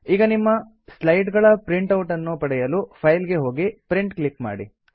ಈಗ ನಿಮ್ಮ ಸ್ಲೈಡ್ ಗಳ ಪ್ರಿಂಟ್ ಔಟ್ ನ್ನು ಪಡೆಯಲು ಫೈಲ್ ಗೆ ಹೋಗಿ ಪ್ರಿಂಟ್ ಕ್ಲಿಕ್ ಮಾಡಿ